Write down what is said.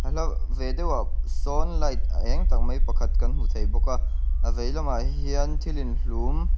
a hla ve deuhah sâwn light êng tak mai pakhat kan hmu thei bawk a a veilamah hian thil inhlûm--